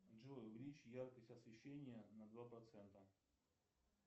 джой увеличь яркость освещения на два процента